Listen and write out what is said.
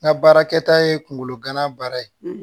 N ka baarakɛta ye kungolo gana baara ye